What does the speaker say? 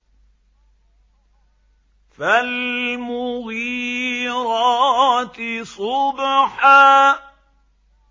فَالْمُغِيرَاتِ صُبْحًا